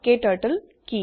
ক্টাৰ্টল কি